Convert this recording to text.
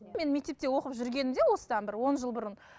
мен мектепте оқып жүргенімде осыдан бір он жыл бұрын